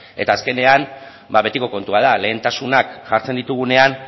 eta azkenean ba betiko kontua da lehentasunak jartzen ditugunean